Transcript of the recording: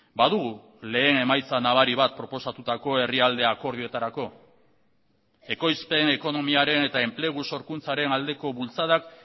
badugu lehen emaitza nabari bat proposatutako herrialde akordioetarako ekoizpen ekonomiaren eta enplegu sorkuntzaren aldeko bultzadak